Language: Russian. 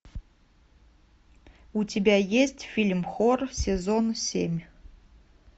у тебя есть фильм хор сезон семь